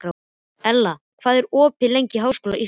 Ella, hvað er opið lengi í Háskóla Íslands?